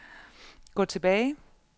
gå tilbage